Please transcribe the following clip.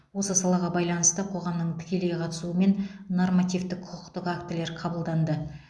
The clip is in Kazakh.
осы салаға байланысты қоғамның тікелей қатысуымен нормативтік құқықтық актілер қабылданды